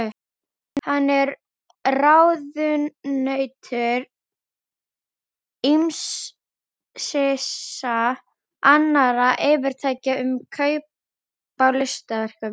Hann er ráðunautur ýmissa annarra fyrirtækja um kaup á listaverkum.